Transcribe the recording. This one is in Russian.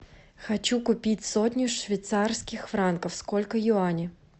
хочу купить сотню швейцарских франков сколько юаней